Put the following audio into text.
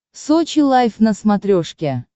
сочи лайф на смотрешке